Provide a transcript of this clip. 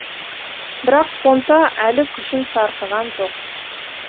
бірақ понта әлі күшін сарқыған жоқ